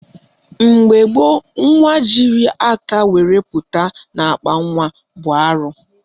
Mgbe gboo, nwa jiri aka were pụta n'akpanwa bụ arụ